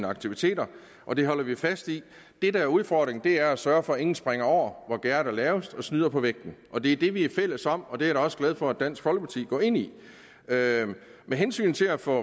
aktiviteter og det holder vi fast i det der er udfordringen er at sørge for at ingen springer over hvor gærdet er lavest og snyder på vægten og det er det vi er fælles om og det er jeg da også glad for at dansk folkeparti går ind i med hensyn til at få